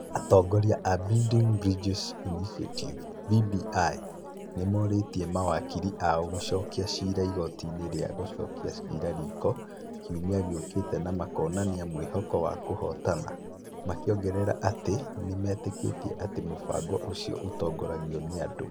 Atongoria a Building Bridges Initiative (BBI) nĩ morĩtie mawakiri ao gũcokia ciira igooti-inĩ rĩa gũcokia ciira riko kiumia gĩũkĩte na makonania mwĩhoko wa kũhootana, makĩongerera atĩ nĩ metĩkĩtie atĩ mũbango ũcio ũtongoragio nĩ andũ.